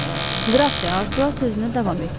Qraf D'Artua sözünə davam etdi.